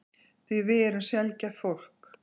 Því við erum sjaldgæft fólk.